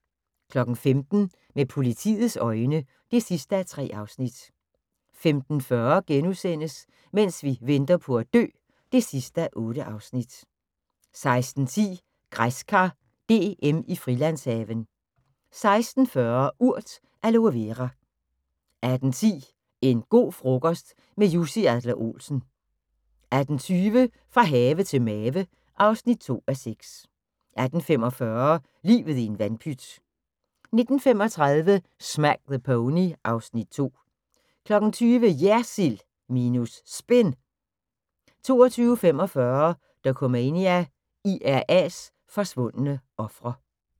15:00: Med politiets øjne (3:3) 15:40: Mens vi venter på at dø (8:8)* 16:10: Græskar DM i Frilandshaven 16:40: Urt: Aloe Vera 18:10: En go' frokost – med Jussi Adler-Olsen 18:20: Fra have til mave (2:6) 18:45: Livet i en vandpyt 19:35: Smack the Pony (Afs. 2) 20:00: JERSILD minus SPIN 20:45: Dokumania: IRA's forsvundne ofre